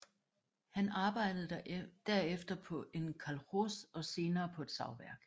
Han arbejdede der efter på en kolkhos og senere på et savværk